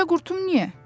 Bircə qurtum niyə?